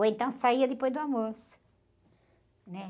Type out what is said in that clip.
Ou então saía depois do almoço. Né?